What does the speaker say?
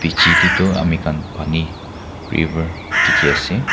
chite toh amikhan pani river dikhi ase.